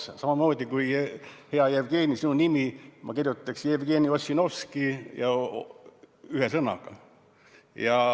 See on samamoodi kui, hea Jevgeni, ma kirjutaksin sinu nime Jevgeniossinovski – ühe sõnaga.